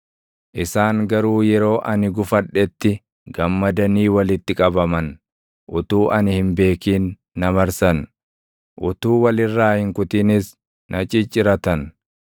Isaan garuu yeroo ani gufadhetti gammadanii walitti qabaman; utuu ani hin beekin na marsan; utuu wal irraa hin kutinis na cicciratan.